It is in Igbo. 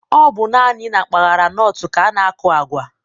Ọ bụ naanị na mpaghara Nọt ka a na-aku agwa